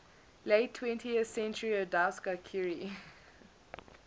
late twentieth centuryodowska curie